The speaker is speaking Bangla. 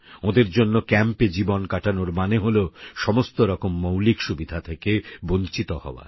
ওঁদের জন্য ক্যম্পে জীবন কাটানোর মানে হলো সমস্তরকম মৌলিক সুবিধা থেকে বঞ্চিত হওয়া